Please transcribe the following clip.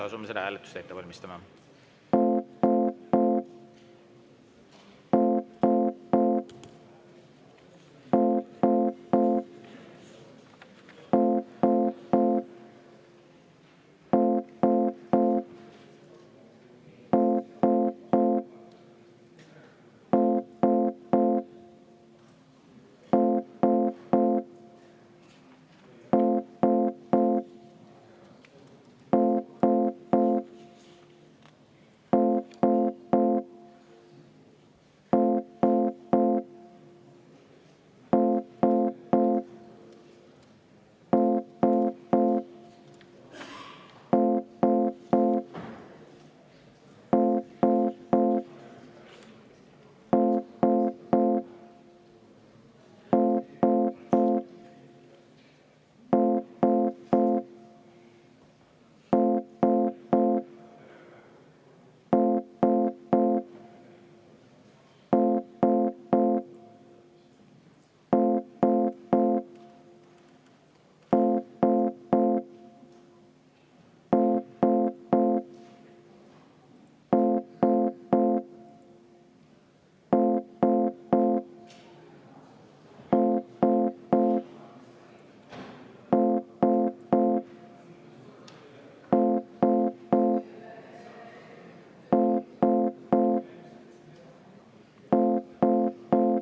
Asume seda hääletust ette valmistama.